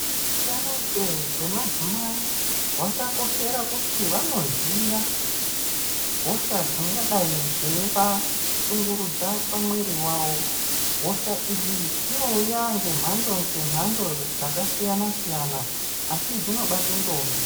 Hutano njee hwemadzimai hwakakoshera kuti vanoziya hosha dzingadai dzevashungurudza pamwiri vawo. Hosha idzi dzinouya ngemhando-ngemhando dzakasiyana-siyana, asi dzinobate ndombi.